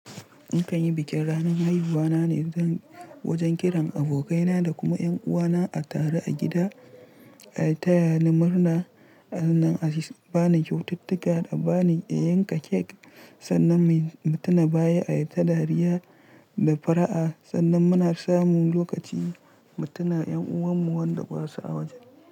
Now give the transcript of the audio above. In kan yi bikin ranan haifuwa na ne, zan wajan kiran abokai na da kuma yan uwa na a taru a gida, a taya ni murna sannan a bani kyaututtuka da bani a yanka cake sannan mu tuna baya, a yi ta dariya da fara'a sannan mu na samun lokaci mu tuna yan uwan mu wanda basu a wajen.